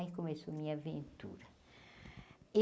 Aí começou minha aventura.